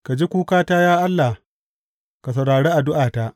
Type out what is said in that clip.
Ka ji kukata, ya Allah; ka saurari addu’ata.